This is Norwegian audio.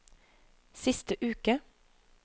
siste uke